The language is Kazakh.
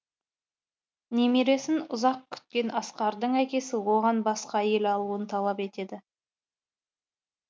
немересін ұзақ күткен асқардың әкесі оған басқа әйел алуын талап етеді